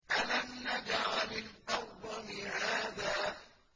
أَلَمْ نَجْعَلِ الْأَرْضَ مِهَادًا